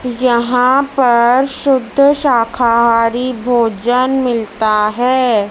यहां पर शुद्ध शाकाहारी भोजन मिलता हैं।